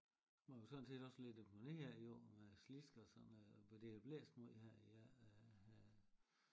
Man kan jo sådan set også lægge dem ned af æ jord med slisk og sådan noget for det har blæst meget her i ja øh